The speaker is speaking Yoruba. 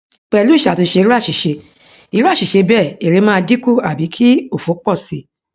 pelu isatunse iru asise iru asise bee ere maa dinku abi ki ofo po si